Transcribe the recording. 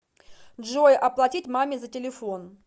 джой оплатить маме за телефон